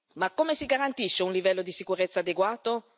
Ma come si garantisce un livello di sicurezza adeguato?